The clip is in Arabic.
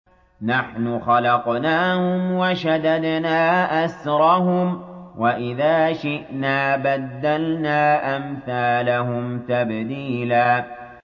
نَّحْنُ خَلَقْنَاهُمْ وَشَدَدْنَا أَسْرَهُمْ ۖ وَإِذَا شِئْنَا بَدَّلْنَا أَمْثَالَهُمْ تَبْدِيلًا